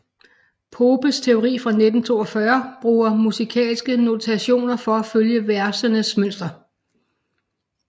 Popes teori fra 1942 bruger musikalske notationer for at følge versenes mønster